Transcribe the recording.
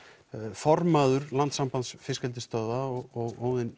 formaður landssambands fiskeldisstöðva og Óðinn